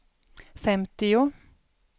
femtio